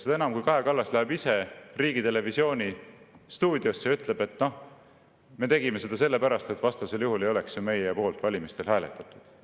Seda enam, kui Kaja Kallas läheb riigitelevisiooni stuudiosse ja ütleb: "Me tegime seda sellepärast, et vastasel juhul ei oleks ju meie poolt valimistel hääletatud.